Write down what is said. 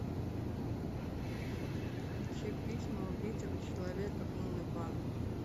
включи письма убитого человека уннва